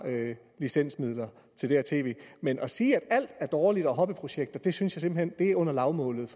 licensmidler men at sige at alt er dårligt og er hobbyprojekter synes jeg simpelt hen er under lavmålet